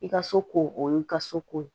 I ka soko o y'i ka so ko ye